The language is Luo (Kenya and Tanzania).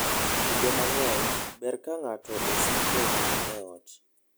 Kinde mang'eny, ber ka ng'ato osiko mana e ot.